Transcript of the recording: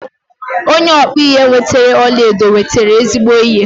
Onye ọkpụ ihe nwetere ọlaedo nwetere ezigbo ihe.